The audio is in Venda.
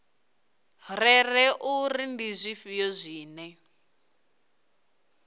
rere uri ndi zwifhio zwine